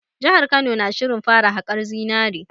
Jihar Kano na shirin fara haƙar zinare